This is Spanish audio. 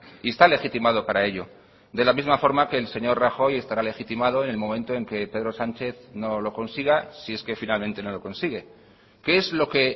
y está legitimado para ello de la misma forma que el señor rajoy estará legitimado en el momento en que pedro sánchez no lo consiga si es que finalmente no lo consigue qué es lo que